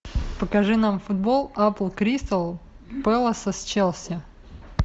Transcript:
покажи нам футбол апл кристал пэласа с челси